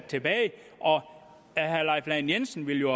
tilbage og at herre leif lahn jensen ville